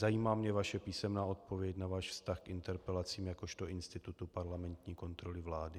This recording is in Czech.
Zajímá mě vaše písemná odpověď na váš vztah k interpelacím jakožto institutu parlamentní kontroly vlády.